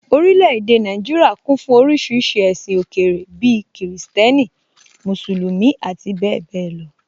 Orílẹ̀ èdè Nàìjíríà kún fún oríṣiríṣi ẹ̀sìn òkèèrè bíi Kìrìsìtẹ́nì, Mùsùlùmí, ati bẹ́ẹ̀bẹ́ẹ̀ lọ